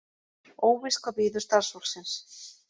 Óvíst hvað bíður starfsfólksins